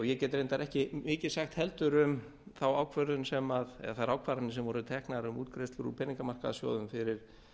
ég get reyndar ekki mikið sagt heldur um þær ákvarðanir sem voru teknar um útgreiðslur úr peningamarkaðssjóðum fyrir